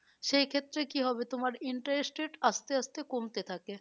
সেই ক্ষেত্রে কি হবে তোমার interested আস্তে আস্তে কমতে থাকে।